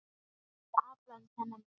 Fyrir allan þennan pening?